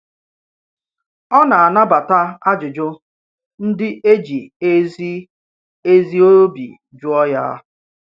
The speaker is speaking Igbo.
ọ̀ nà-anabata àjụ̀jụ ndì e jì ezi ezi ọ̀bì jụọ̀ ya.